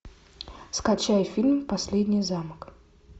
скачай фильм последний замок